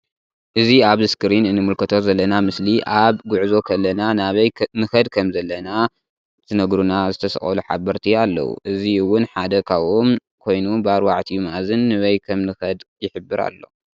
እዚ ኣብ ኣስክሪን እንምልከቶ ዘለና ምስሊ ኣብ ጉዕዞ ከለና ናበይ ንከድ ከም ዘለና ዝነጉርና ዝተሰቀሉ ሓበርቲ ኣለዉ እዚ እውን ሓደ ካብኡም ኮይኑ ብኣርባዕቲኡ ምኣዝን ንበይ ክምንከድ ይሕበር ኣሎ።